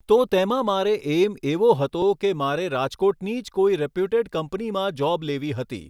તો તેમાં મારે એઇમ એવો હતો કે મારે રાજકોટની જ કોઈ રેપ્યુટેડ કંપનીમાં જોબ લેવી હતી.